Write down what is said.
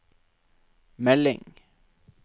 melding